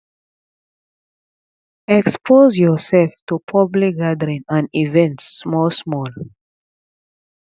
expose your self to public gathering and events small small